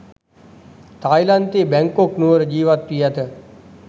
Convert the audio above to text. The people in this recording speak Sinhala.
තායිලන්තයේ බැංකොක් නුවර ජීවත්වී ඇත.